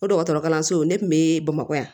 O dɔgɔtɔrɔkalansow ne kun be bamakɔ yan